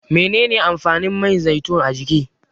Menene amfanin man zaitun a jiki?